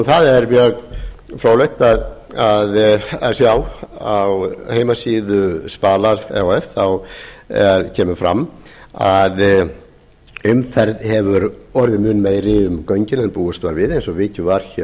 það er mjög fróðlegt að sjá að á heimasíðu spalar e h f kemur fram að umferð hefur orðið mun meiri um göngin eins og búist var við eins og vikið var